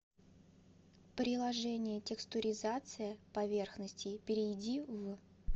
приложение текстуризация поверхностей перейди в